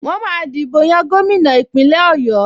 Wọ́n máa dìbò yan gómìnà Ìpínlẹ̀ Ọ̀yọ́